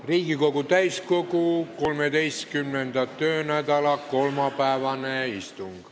Riigikogu täiskogu 13. töönädala kolmapäevane istung.